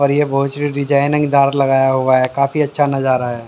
और ये बहुत डिजाइनिंगदार लगाया हुआ है काफी अच्छा नजारा है।